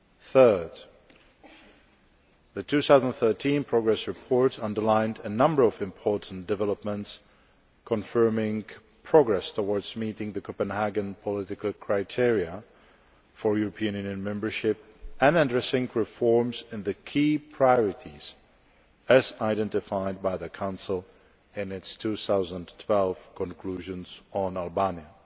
Thirdly, the 2013 progress report underlined a number of important developments confirming progress towards meeting the Copenhagen political criteria for European Union membership and addressing reforms in the key priorities as identified by the Council in its 2012 conclusions on Albania.